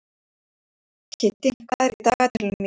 Kiddi, hvað er í dagatalinu mínu í dag?